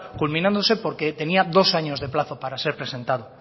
culminándose porque tenía dos años de plazo para ser presentado